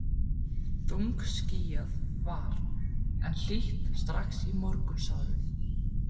Þungskýjað var, en hlýtt strax í morgunsárið.